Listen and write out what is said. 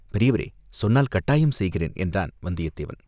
பெரியவரே, சொன்னால் கட்டாயம் செய்கிறேன்" என்றான் வந்தியத்தேவன்.